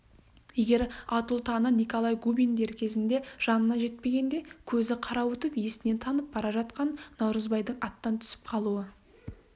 егер атұлтаны николай губин дер кезінде жанына жетпегенде көзі қарауытып есінен танып бара жатқан наурызбайдың аттан түсіп қалуы